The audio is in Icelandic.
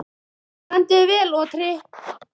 Þú stendur þig vel, Otri!